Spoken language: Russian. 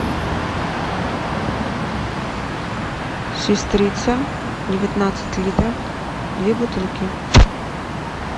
сестрица девятнадцать литров две бутылки